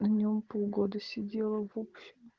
в нем погода сидела в общем